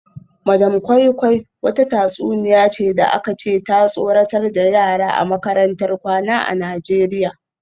Madam koi koi wata tatsuniya ce da aka ce ta tsoratar da yara a makarantar kwana a Najeriya